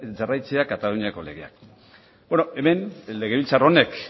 jarraitzea kataluniako legeak legebiltzar honek